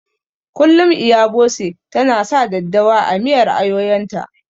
Kullum Iya Bose ta na sa daddawa a miyar ayoyon ta